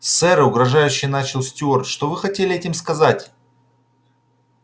сэр угрожающе начал стюарт что вы хотели этим сказать